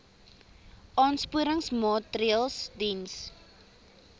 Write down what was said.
aansporingsmaatre ls diens